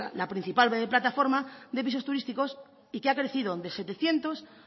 la principal web de plataforma de pisos turísticos y que ha crecido de setecientos